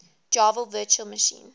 java virtual machine